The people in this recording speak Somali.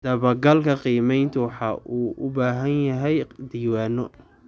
Dabagalka qiimayntu waxa uu u baahan yahay diiwaanno.